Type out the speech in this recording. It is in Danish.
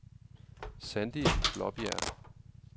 Sandie Blaabjerg